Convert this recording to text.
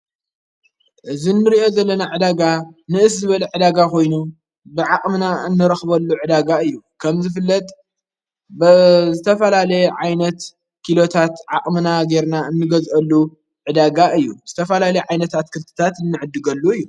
እዝ ንምርእዮ ዘለና ዕዳጋ ንእስ ዝበል ዕዳጋ ኾይኑ ብዓቕምና እንረኽበሉ ዕዳጋ እዩ ከም ዝፍለጥ ብ ዝተፈላለየ ዓይነት ኪሎታት ዓቕምና ጌይርና እንገዘአሉ ዕዳጋ እዩ ዝተፈላል ዓይነታት ክልትታት እንዕድገሉ እዩ።